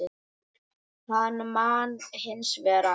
Hann man hins vegar allt.